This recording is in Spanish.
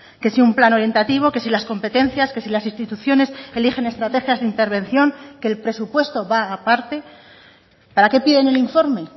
que si un plan orientativo que si las competencias que si las instituciones eligen estrategias de intervención que el presupuesto va aparte para qué piden el informe